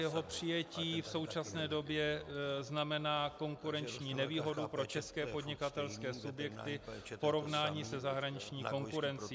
Jeho přijetí v současné době znamená konkurenční nevýhodu pro české podnikatelské subjekty v porovnání se zahraniční konkurencí.